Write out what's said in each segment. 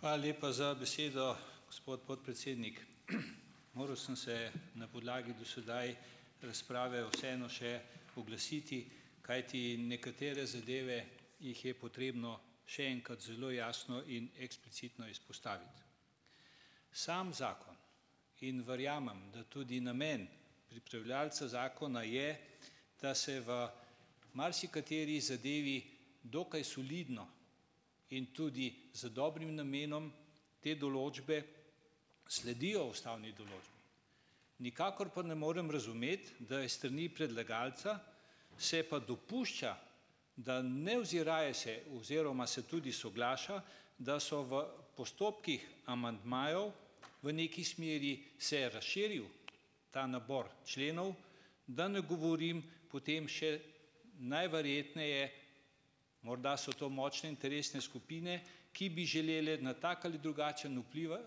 Hvala lepa za besedo, gospod podpredsednik. Moral sem se na podlagi do sedaj razprave vseeno še oglasiti, kajti nekatere zadeve, jih je potrebno še enkrat zelo jasno in eksplicitno izpostaviti. Sam zakon in verjamem, da tudi namen pripravljavca zakona je, da se v marsikateri zadevi dokaj solidno in tudi z dobrim namenom te določbe sledijo ustavni določbi, nikakor pa ne morem razumeti, da je s strani predlagalca se pa dopušča, da ne oziraje se oziroma se tudi soglaša, da so v postopkih amandmajev, v neki smeri se je razširil ta nabor členov, da ne govorim potem še najverjetneje, morda so to močne interesne skupine, ki bi želele na tak ali drugačen vplivati,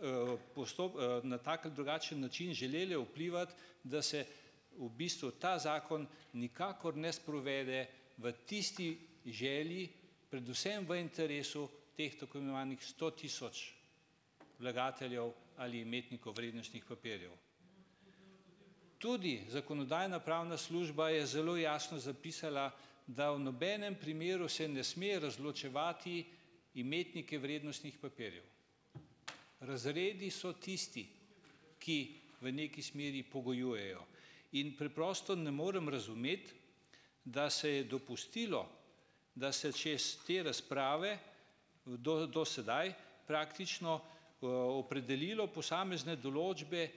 na tak ali drugačen način želele vplivati, da se v bistvu ta zakon nikakor ne sprovede, v tisti želji, predvsem v interesu teh tako imenovanih sto tisoč vlagateljev ali imetnikov vrednostnih papirjev. Tudi zakonodajno-pravna služba je zelo jasno zapisala, da v nobenem primeru se ne sme razločevati imetnike vrednostnih papirjev. Razredi so tisti, ki v neki smeri pogojujejo. In preprosto ne morem razumeti, da se je dopustilo, da se še iz te razprave do do sedaj praktično, opredelilo posamezne določbe,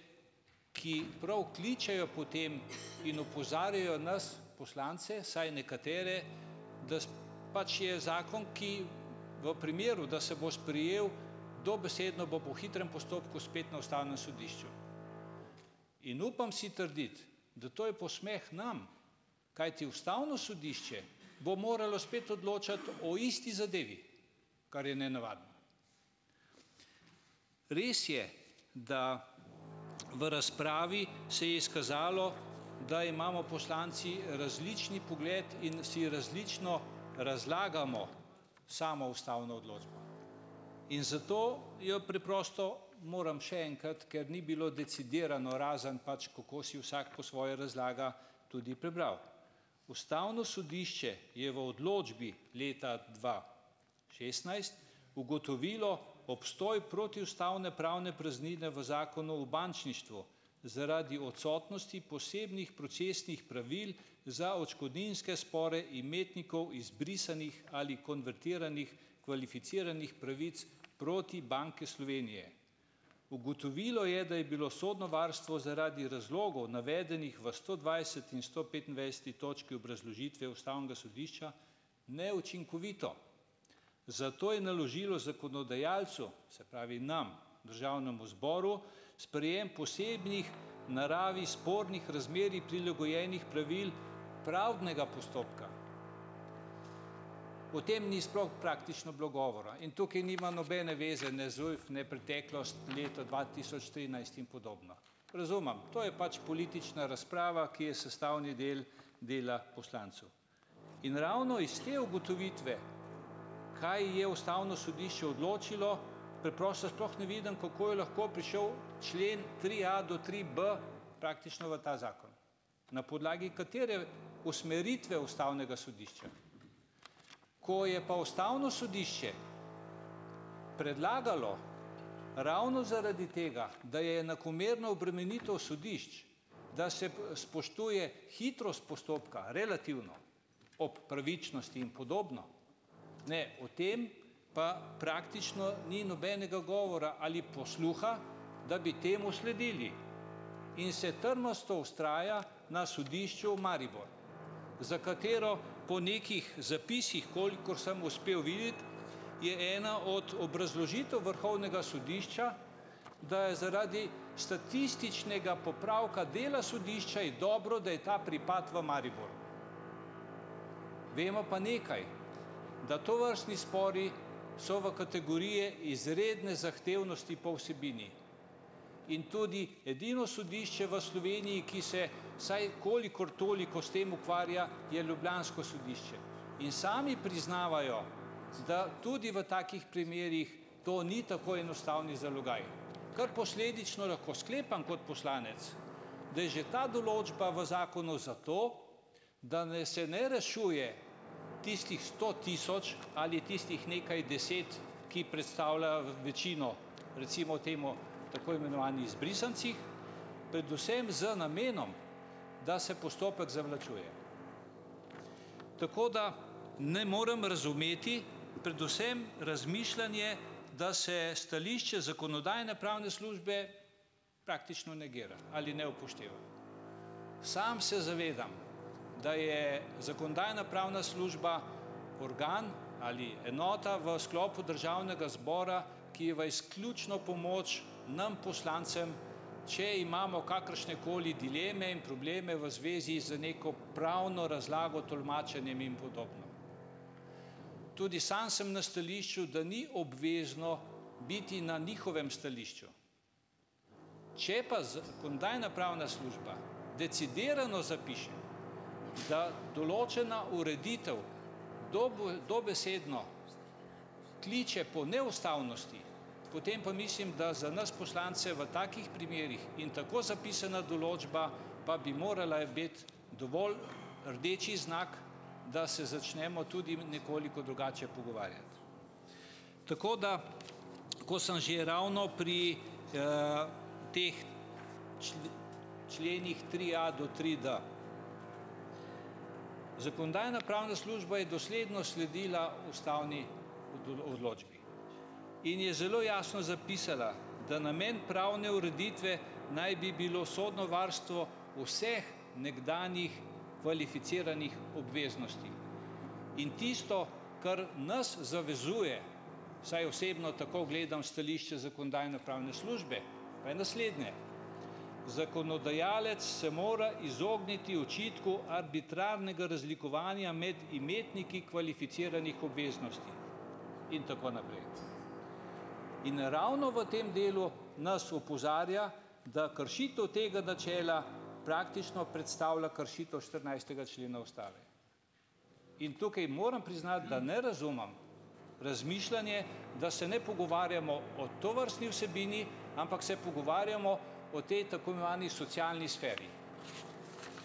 ki prav kličejo po tem in opozarjajo nas poslance, vsaj nekatere, da pač je zakon, ki v primeru, da se bo sprejel, dobesedno bo po hitrem postopku, spet na ustavnem sodišču. In upam si trditi, da to je posmeh nam, kajti ustavno sodišče bo moralo spet odločati o isti zadevi, kar je nenavadno. Res je, da v razpravi se je izkazalo, da imamo poslanci različen pogled in si različno razlagamo samo ustavno odločbo in zato jo preprosto moram še enkrat, ker ni bilo decidirano, razen pač kako si vsak po svoje razlaga, tudi prebral. Ustavno sodišče je v odločbi leta dva šestnajst ugotovilo obstoj protiustavne pravne praznine v Zakonu o bančništvu zaradi odsotnosti posebnih procesnih pravil za odškodninske spore imetnikov izbrisanih ali konvertiranih, kvalificiranih pravic proti Banki Slovenije. Ugotovilo je, da je bilo sodno varstvo zaradi razlogov navedenih v sto dvajset in sto petindvajset točki obrazložitve ustavnega sodišča neučinkovito. Zato je naložilo zakonodajalcu, se pravi, nam, državnemu zboru, sprejem posebnih v naravi spornih razmerij prilagojenih pravil pravdnega postopka. O tem ni sploh praktično bilo govora in tukaj nima nobene zveze ne ZUJF ne preteklost, leto dva tisoč trinajst in podobno. Razumem, to je pač politična razprava, ki je sestavni del dela poslancev. In ravno iz te ugotovitve, kaj je ustavno sodišče odločilo, preprosto sploh ne vidim, kako je lahko prišel člen tria do trib praktično v ta zakon. Na podlagi katere usmeritve ustavnega sodišča? Ko je pa ustavno sodišče predlagalo ravno zaradi tega, da je enakomerno obremenitev sodišč, da se spoštuje hitrost postopka relativno ob pravičnosti in podobno. Ne, o tem pa praktično ni nobenega govora ali posluha, da bi temu sledili in se trmasto vztraja na sodišču v Mariboru, za katero po nekih zapisih, kolikor sem uspel videti, je ena od obrazložitev vrhovnega sodišča, da je zaradi statističnega popravka dela sodišča je dobro, da je ta pripad v Mariboru. Vemo pa nekaj, da tovrstni spori so v kategoriji izredne zahtevnosti po vsebini in tudi edino sodišče v Sloveniji, ki se vsaj kolikor toliko s tem ukvarja, je ljubljansko sodišče in sami priznavajo, da tudi v takih primerih to ni tako enostaven zalogaj, kar posledično lahko sklepam kot poslanec, da je že ta določba v zakonu, zato da se ne rešuje tistih sto tisoč ali tistih nekaj deset, ki predstavljajo večino, recimo temu tako imenovani izbrisancih, predvsem z namenom, da se postopek zavlačuje. Tako da ne morem razumeti predvsem razmišljanje, da se stališče zakonodajno-pravne službe praktično negira ali ne upošteva. Sam se zavedam, da je zakonodajno-pravna služba organ ali enota v sklopu državnega zbora, ki je v izključno pomoč nam poslancem, če imamo kakršnekoli dileme in probleme v zvezi z neko pravno razlago tolmačenjem in podobno. Tudi sam sem na stališču, da ni obvezno biti na njihovem stališču. Če pa zakonodajno-pravna služba decidirano zapiše, da določena ureditev dobesedno kliče po neustavnosti, potem pa mislim, da za nas poslance v takih primerih in tako zapisana določba pa bi morala biti dovolj rdeči znak, da se začnemo tudi nekoliko drugače pogovarjati. Tako da ko sem že ravno pri, teh členih tria do trid, zakonodajno-pravna služba je dosledno sledila ustavni odločbi in je zelo jasno zapisala, da namen pravne ureditve naj bi bilo sodno varstvo vseh nekdanjih kvalificiranih obveznosti in tisto, kar nas zavezuje, vsaj osebno tako gledam, stališče zakonodajno-pravne službe pa je naslednje: "Zakonodajalec se mora izogniti očitku arbitrarnega razlikovanja med imetniki kvalificiranih obveznosti in tako naprej ..." In ravno v tem delu nas opozarja, da kršitev tega načela praktično predstavlja kršitev štirinajstega člena ustave. In tukaj moram priznati, da ne razumem razmišljanje, da se ne pogovarjamo o tovrstni vsebini, ampak se pogovarjamo o tej tako imenovani socialni sferi.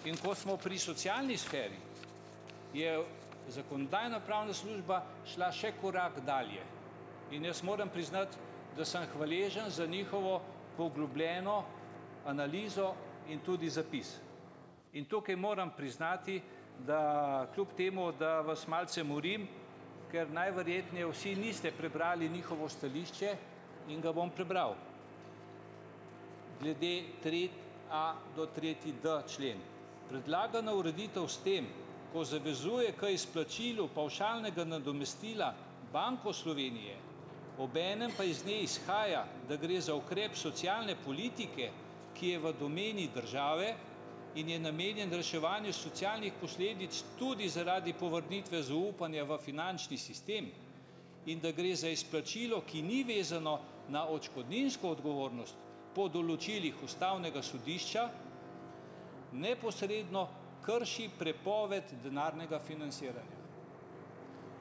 In ko smo pri socialni sferi, je zakonodajno-pravna služba šla še korak dalje in jaz moram priznati, da sem hvaležen za njihovo poglobljeno analizo in tudi zapis. In tukaj moram priznati, da kljub temu, da vas malce morim, ker najverjetneje vsi niste prebrali njihovo stališče in ga bom prebral glede tria do tretjid člen: "Predlagana ureditev s tem, ko zavezuje k izplačilu pavšalnega nadomestila Banko Slovenije ob enem pa iz nje izhaja, da gre za ukrep socialne politike, ki je v domeni države in je namenjen reševanju socialnih posledic tudi zaradi povrnitve zaupanja v finančni sistem, in da gre za izplačilo, ki ni vezano na odškodninsko odgovornost po določilih ustavnega sodišča neposredno krši prepoved denarnega financiranja."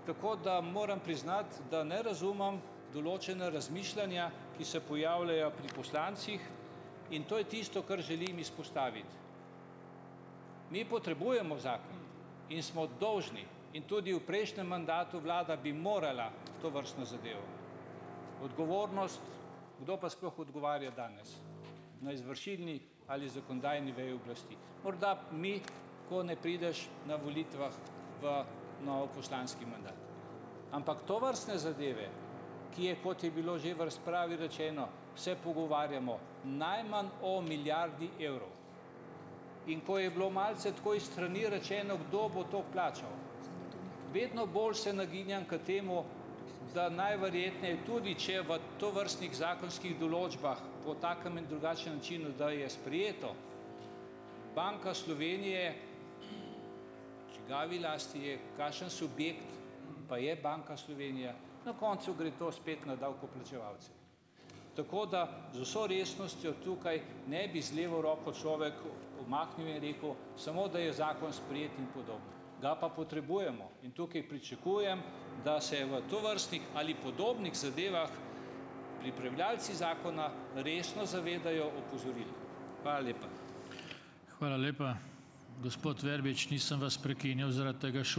Tako da moram priznati, da ne razumem določena razmišljanja, ki se pojavljajo pri poslancih in to je tisto, kar želim izpostaviti. Mi potrebujemo zakon in smo dolžni in tudi v prejšnjem mandatu vlada bi morala tovrstno zadevo. Odgovornost, kdo pa sploh odgovarja danes, na izvršilni ali zakonodajni veji oblasti? Morda mi, ko ne prideš na volitvah v nov poslanski mandat. Ampak tovrstne zadeve, ki je, kot je bilo že v razpravi rečeno, se pogovarjamo najmanj o milijardi evrov, in ko je bilo malce tako, iz strani rečeno, kdo bo to plačal, vedno bolj se nagibam k temu, da najverjetneje, tudi če v tovrstnih zakonskih določbah, po takem in drugačnem načinu, da je sprejeto, Banka Slovenije, v čigavi lasti je, kakšen subjekt pa je Banka Slovenije. Na koncu gre to spet na davkoplačevalce. Tako da z vso resnostjo, tukaj ne bi z levo roko človek, umaknil, je rekel, samo da je zakon sprejet in podobno, ga pa potrebujemo in tukaj pričakujem, da se v tovrstnih ali podobnih zadevah, pripravljavci zakona resno zavedajo opozoril. Hvala lepa.